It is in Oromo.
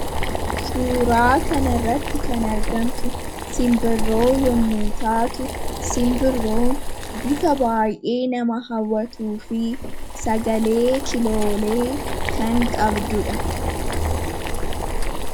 suuraa kana irratti kan argamtu simbirroo yommuu taatu, simbirroon bifa baay'ee nama hawwatuu fi sagalee kiloolee kan qabdudha.